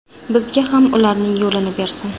Bizga ham ularning yo‘lini bersin.